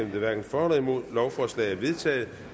hverken for eller imod stemte lovforslaget er vedtaget